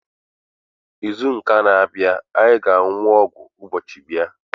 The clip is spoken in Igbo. N'izu ụka a na-abịa, anyị ga-aṅụ ọgwụ mgbochi ịba.